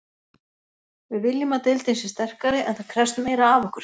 Við viljum að deildin sé sterkari en það krefst meira af okkur.